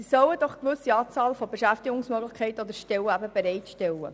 Sie sollen eine gewisse Anzahl Beschäftigungsmöglichkeiten oder Stellen bereitstellen.